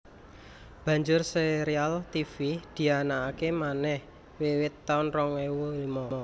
Banjur sérial Tivi dianakaké manèh wiwit taun rong ewu limo